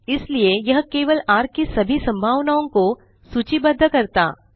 इसलिए यह केवल र की सभी संभावनाओं को सूचिबद्ध करता